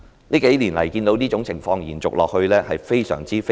這數年來，我看到這種情況延續下去，感到非常痛心。